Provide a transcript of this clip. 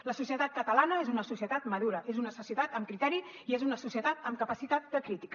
la societat catalana és una societat madura és una societat amb criteri i és una societat amb capacitat de crítica